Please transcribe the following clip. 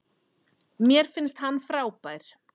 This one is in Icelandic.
Mér finnst hann frábær.